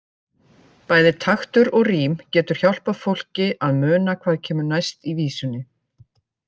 Bæði taktur og rím getur hjálpað fólki að muna hvað kemur næst í vísunni.